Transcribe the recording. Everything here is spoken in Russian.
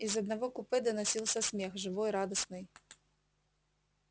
из одного купе доносился смех живой радостный